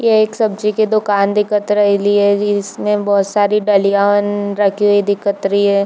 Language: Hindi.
ये एक सब्जी की दुकान दिखत रइली है इसमें बहुत सारी डलियन रखी हुई दिखत रही है।